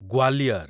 Gwalior